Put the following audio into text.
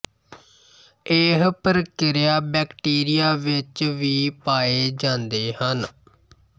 ਇਹ ਪ੍ਰਕਿਰਿਆ ਬੈਕਟਰੀਆ ਵਿੱਚ ਵੀ ਪਾਏ ਜਾਂਦੇ ਹਨ